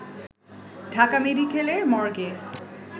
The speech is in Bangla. ঢাকা মেডিকেলের মর্গে